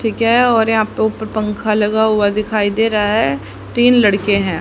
ठीक है और यहां पे ऊपर पंखा लगा हुआ दिखाई दे रहा है तीन लड़के हैं।